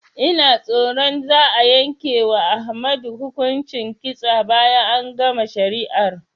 Ina tsoron za'a yanke wa Ahmadu hukuncin kitsa bayan an gama shari'ar